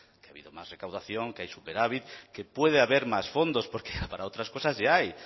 que ha habido más recaudación que hay superávit que puede haber más fondos porque para otras cosas ya hay